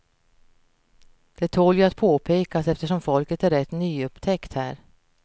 Det tål ju att påpekas eftersom folket är rätt nyupptäckt här.